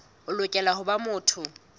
o lokela ho ba motho